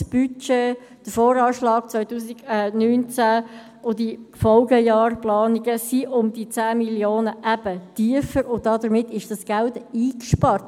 Der Voranschlag (VA) 2019 und die Planung der Folgejahre sind um diese 10 Mio. Franken tiefer, und damit ist dieses Geld eingespart.